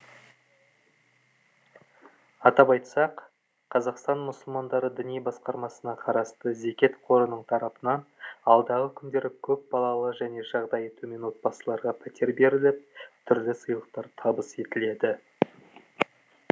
атап айтсақ қазақстан мұсылмандары діни басқармасына қарасты зекет қорының тарапынан алдағы күндері көпбалалы және жағдайы төмен отбасыларға пәтер беріліп түрлі сыйлықтар табыс етіледі